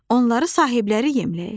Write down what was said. Onları sahibləri yemləyir.